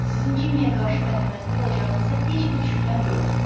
Sizin Cimmeyə qarşı mərhəmətli olacağınıza heç bir şübhəm yoxdur.